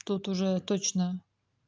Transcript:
тут уже точно